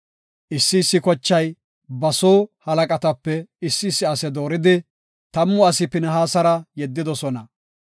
Issi issi kochay ba soo halaqatape issi issi ase dooridi, tammu asi Pinihaasara yeddidosona.